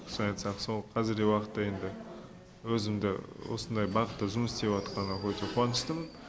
соны айтсақ сол қазіргі уақытта енді өзімді осындай бағытта жұмыс істеп жатқаныма өте қуаныштымын